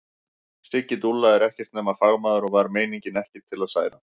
Siggi dúlla er ekkert nema fagmaður og var meiningin ekki til að særa.